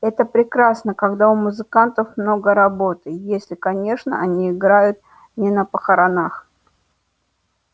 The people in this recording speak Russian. это прекрасно когда у музыкантов много работы если конечно они играют не на похоронах